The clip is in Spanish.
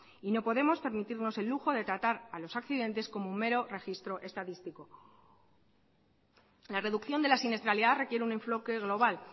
y no podemos permitirnos el lujo de tratar a los accidentes como mero registro estadístico en la reducción de la siniestralidad requiere un enfoque global